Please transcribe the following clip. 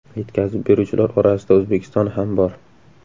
Yetkazib beruvchilar orasida O‘zbekiston ham bor.